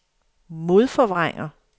modforvrænger